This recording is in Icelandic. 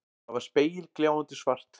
Það var spegilgljáandi svart.